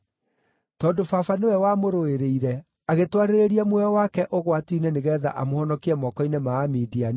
tondũ baba nĩwe wamũrũĩrĩire, agĩtwarĩrĩria muoyo wake ũgwati-inĩ nĩgeetha amũhonokie moko-inĩ ma Amidiani,